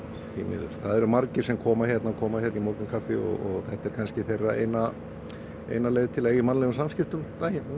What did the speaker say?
því miður það eru margir sem koma hingað koma hingað í morgunkaffi og þetta er kannski þeirra eina eina leið til að eiga í mannlegum samskiptum